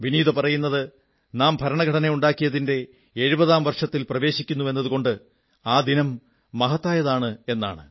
വിനീത പറയുന്നത് നാം ഭരണഘടന ഉണ്ടാക്കിയതിന്റെ എഴുപതാം വർഷത്തിൽ പ്രവേശിക്കുന്നുവെന്നതുകൊണ്ട് ആ ദിനം മഹത്തായതാണെന്നാണ്